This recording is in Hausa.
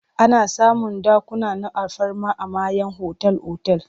Ana samun dakuna na alfarma a mayan otal-otal.